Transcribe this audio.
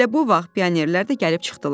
Elə bu vaxt pionerlər də gəlib çıxdılar.